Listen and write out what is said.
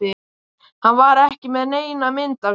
Hann var ekki með neina mynd af mér